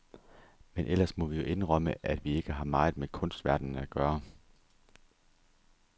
Men ellers må vi jo indrømme, at vi ikke har meget med kunstverdenen at gøre.